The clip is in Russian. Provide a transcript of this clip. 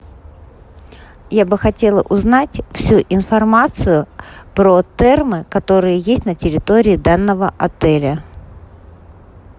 я бы хотела узнать всю информацию про термы которые есть на территории данного отеля